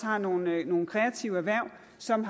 har nogle kreative erhverv som